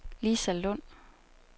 Lisa Lund